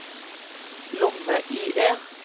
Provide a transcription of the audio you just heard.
lomme-IE